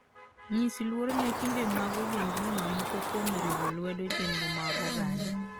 Nyis luor ne timbe mag ogendini mamoko kuom riwo lwedo chenro mag oganda.